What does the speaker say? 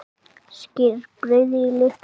Skerið brauðið í litla bita.